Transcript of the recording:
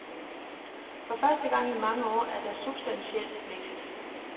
For første gang i mange år er der substansiel vækst.